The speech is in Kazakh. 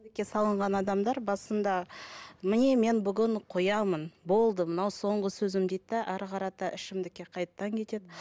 салынған адамдар басында міне мен бүгін қоямын болды мынау соңғы сөзім дейді де әрі қарата ішімдікке қайтадан кетеді